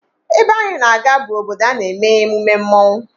Ebe ahụ I na-aga bụ obodo a na-eme emume mmọnwụ